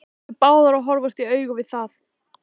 Þær yrðu báðar að horfast í augu við það.